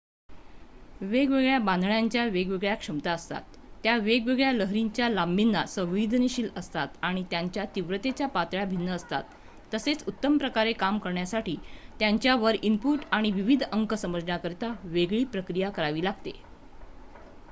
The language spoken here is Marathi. वेगवेगळ्या बांधण्यांच्या वेगवेगळ्या क्षमता असतात त्या वेगवेगळ्या लहरींच्या लांबीना संवेदनशील असतात आणि त्यांच्या तीव्रतेच्या पातळ्या भिन्न असतात तसेच उत्तमप्रकारे काम करण्यासाठी त्यांच्यावर इनपुट आणि विविध अंक समजण्याकरिता वेगळी प्रक्रिया करावी लागते